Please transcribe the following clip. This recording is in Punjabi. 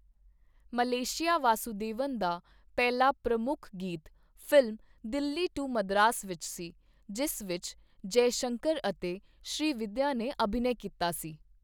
ਮਲੇਸ਼ੀਆ ਵਾਸੁਦੇਵਨ ਦਾ ਪਹਿਲਾ ਪ੍ਰਮੁੱਖ ਗੀਤ ਫ਼ਿਲਮ ਦਿੱਲੀ ਟੂ ਮਦਰਾਸ ਵਿੱਚ ਸੀ, ਜਿਸ ਵਿੱਚ ਜੈਸ਼ੰਕਰ ਅਤੇ ਸ਼੍ਰੀਵਿਦਿਆ ਨੇ ਅਭਿਨੈ ਕੀਤਾ ਸੀ।